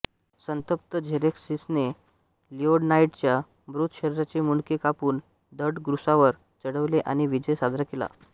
संतप्त झेरेक्सिसने लिओनायडसच्या मृत शरीराचे मुंडके कापून धड क्रूसावर चढवले आणि विजय साजरा केला